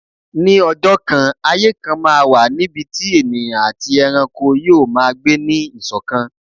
Ní ọjọ́ kan, ayé kan máa wà níbi tí ènìyàn àti ẹranko yoo maa gbé ní ìṣọ̀kan.